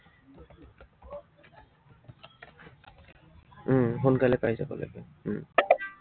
উম সোনকালে পাই যাম।